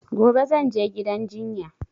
Gobe zan je gidan jinya